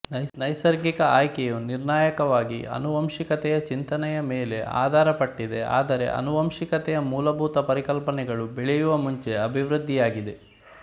ನೈಸರ್ಗಿಕ ಆಯ್ಕೆಯು ನಿರ್ಣಾಯಕವಾಗಿ ಅನುವಂಶಿಕತೆಯ ಚಿಂತನೆಯ ಮೇಲೆ ಆಧಾರ ಪಟ್ಟಿದೆ ಆದರೆ ಅನುವಂಶಿಕತೆಯ ಮೂಲಭೂತ ಪರಿಕಲ್ಪನೆಗಳು ಬೆಳೆಯುವ ಮುಂಚೆ ಅಭಿವೃದ್ಧಿಯಾಗಿದೆ